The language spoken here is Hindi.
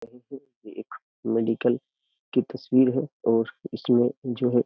ये एक मेडिकल की तस्वीर है और इसमें जो है --